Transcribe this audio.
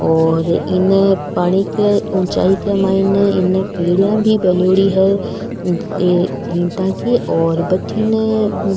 और इने पानी के उचाई के माइने इने पीना भी बनेड़ी है ये ईटा की और भटीने --